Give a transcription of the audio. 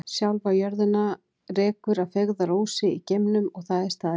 Sjálfa jörðina rekur að feigðarósi í geimnum og það er staðreynd.